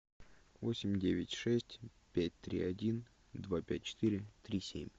восемь девять шесть пять три один два пять четыре три семь